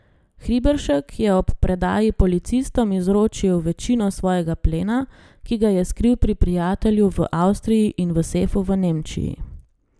Hriberšek je ob predaji policistom izročil večino svojega plena, ki ga je skril pri prijatelju v Avstriji in v sefu v Nemčiji.